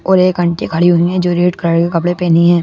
और एक आंटी खड़ी हुई है जो रेड कलर के कपड़े पहनी है।